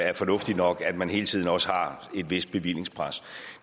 er fornuftigt nok at man hele tiden også har et vist bevillingspres